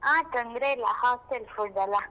ಹಾ ತೊಂದ್ರೆ ಇಲ್ಲ, hostel food ಅಲ್ಲ.